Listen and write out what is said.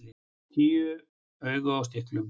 Tíu augu á stilkum!